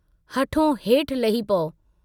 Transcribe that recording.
हठों हेठ लही पऊ।